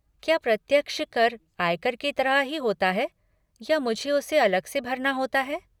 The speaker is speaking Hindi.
क्या प्रत्यक्ष कर आयकर की तरह ही होता है या मुझे उसे अलग से भरना होता है।